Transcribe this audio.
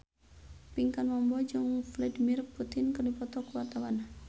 Pinkan Mambo jeung Vladimir Putin keur dipoto ku wartawan